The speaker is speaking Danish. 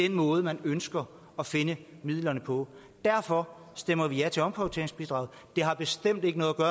den måde man ønsker at finde midlerne på derfor stemmer vi ja til omprioriteringsbidraget det har bestemt ikke noget at